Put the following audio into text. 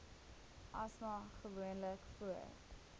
asma gewoonlik voor